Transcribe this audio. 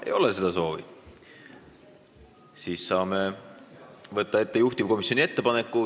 Ei ole seda soovi ja nii saame võtta ette juhtivkomisjoni ettepaneku.